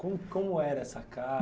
Como como era essa casa?